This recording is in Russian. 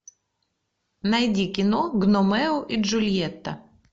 найди кино гномео и джульетта